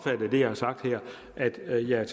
jeg